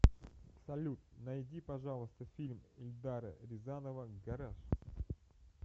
салют найди пожалуйста фильм ильдара рязанова гараж